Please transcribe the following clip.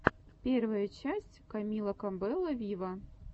первая часть камила кабелло виво